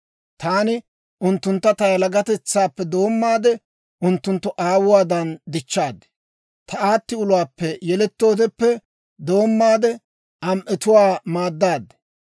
Taani unttuntta ta yalagatetsaappe doommaade, unttunttu aawuwadan dichchaad; ta aatti uluwaappe yelettoodeppe doommaade, am"etuwaa maaddaad.